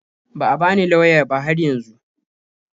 Ba a bani lauya ba har yanzu.